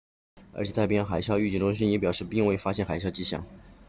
而且太平洋海啸预警中心 also the pacific tsunami warning center 也表示并未发现海啸迹象